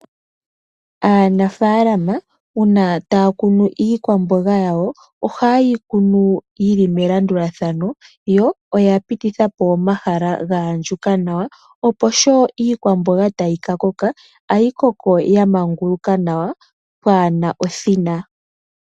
Aanafaalama uuna taya kunu iikwamboga yawo, oha yeyi kunu yili melandulathano, yo oya pitithapo omahala ga andjuka nawa, opo sho iikwamboga tayi ka koka, oha yi koko ya manguluka nawa pwaana othina.